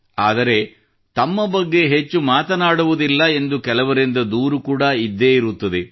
ಆದರೆ ತಮ್ಮ ಬಗ್ಗೆ ಹೆಚ್ಚು ಮಾತನಾಡುವುದಿಲ್ಲ ಎಂದು ಕೆಲವರಿಂದ ದೂರು ಕೂಡಾ ಇದ್ದೇ ಇರುತ್ತದೆ